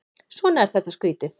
Svona er þetta skrýtið.